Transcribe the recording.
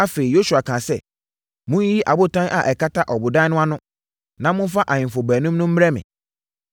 Afei, Yosua kaa sɛ, “Monyiyi abotan a ɛkata ɔbodan no ano no na momfa ahemfo baanum no mmrɛ me.”